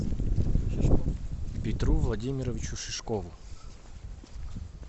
петру владимировичу шишкову